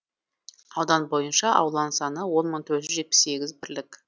аудан бойынша ауланың саны он мың төрт жетпіс сегіз бірлік